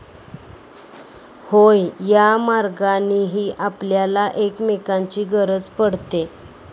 होय, या मार्गांनीही आपल्याला एकमेकांची गरज पडते.